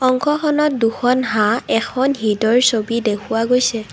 অংশখনত দুখন হাত এখন হিদয়ৰ ছবি দেখুওৱা গৈছে।